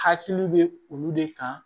Hakili bɛ olu de kan